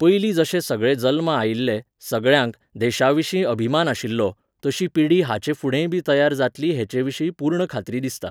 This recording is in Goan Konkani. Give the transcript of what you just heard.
पयली जशे सगळे जल्मा आयिल्ले, सगळ्यांक, देशाविशीं अभिमान आशिल्लो, तशी पिढी हाचेफुडेंयबी तयार जातली हेचेविशाीं पूर्ण खात्री दिसता